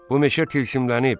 Bu meşə tilsimlənib.